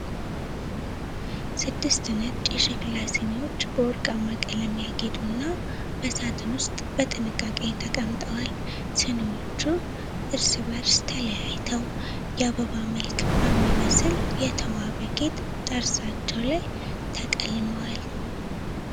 ስድስት ነጭ የሸክላ ስኒዎች በወርቃማ ቀለም ያጌጡና በሳጥን ውስጥ በጥንቃቄ ተቀምጠዋል። ስኒዎቹ እርስ በርስ ተለያይተው ፤ የአበባ መልክ በሚመስል የተዋበ ጌጥ ጠርዛቸው ላይ ተቀልመዋል።